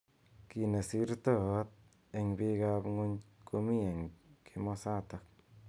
Ki neisirtoot eng bik ab ng'uny komi eng kimosatak.